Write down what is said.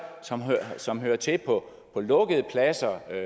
som hører til på lukkede pladser eller